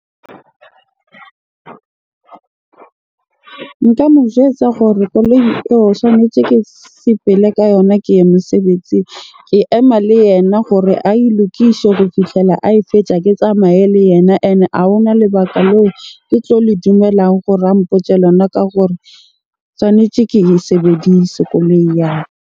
Nka mo jwetsa gore koloi eo swanetse ke sepele ka yona ke ye mosebetsing. Ke ema le yena gore ae lokishe ho fihlela ae fetja, ke tsamaye le yena. Ene a hona lebaka leo ke tlo le dumelang gore a mpotje lona ka gore tshwanetje ke e sebedise koloi ya .